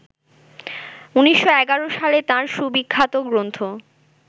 ১৯১১ সালে তাঁর সুবিখ্যাত গ্রন্থ